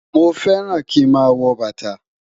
Mọ fẹ́ràn kí mà wọ́ bátà.